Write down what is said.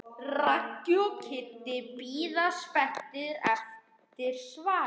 Raggi og Kiddi bíða spenntir eftir svari.